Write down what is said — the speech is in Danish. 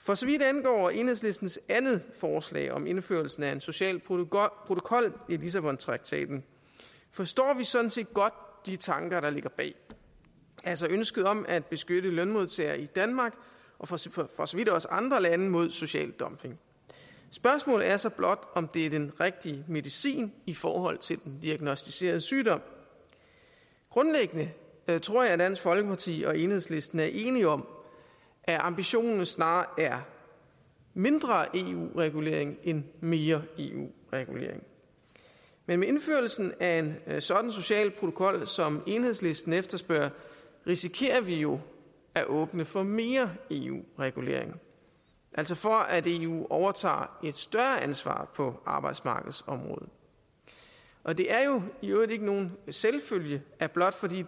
for så vidt angår enhedslistens andet forslag om indførelsen af en social protokol i lissabontraktaten forstår vi sådan set godt de tanker der ligger bag altså ønsket om at beskytte lønmodtagerne i danmark og for så vidt også andre lande mod social dumping spørgsmålet er så blot om det er den rigtige medicin i forhold til den diagnosticerede sygdom grundlæggende tror jeg at dansk folkeparti og enhedslisten er enige om at ambitionen snarere er mindre eu regulering end mere eu regulering men med indførelsen af en sådan social protokol som enhedslisten efterspørger risikerer vi jo at åbne for mere eu regulering altså for at eu overtager et større ansvar på arbejdsmarkedsområdet og det er jo i øvrigt ikke nogen selvfølge at blot fordi vi